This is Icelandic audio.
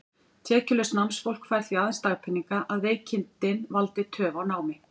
Tekjulaust námsfólk fær því aðeins dagpeninga, að veikindin valdi töf á námi.